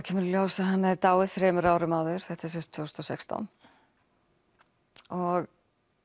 kemur í ljós að hann hafði dáið þremur árum áður þetta er sem sagt tvö þúsund og sextán og